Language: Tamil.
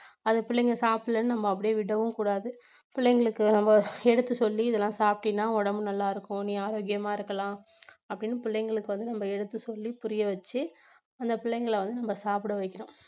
அந்த பிள்ளைகள் சாப்பிடலைன்னு நம்ம அப்படியே விடவும் கூடாது பிள்ளைங்களுக்கு நம்ம எடுத்து சொல்லி இதெல்லாம் சாப்பிட்டீன்னா உடம்பு நல்லாயிருக்கும் நீ ஆரோக்கியமா இருக்கலாம் அப்படின்னு பிள்ளைங்களுக்கு வந்து நம்ம எடுத்து சொல்லி புரியவெச்சி அந்த பிள்ளைங்களை வந்து நம்ம சாப்பிடவைக்கணும்.